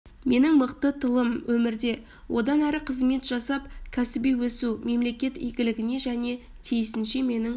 менің мықты тылым өмірде одан әрі қызмет жасап кәсіби өсу мемлекет игілігіне және тиісінше менің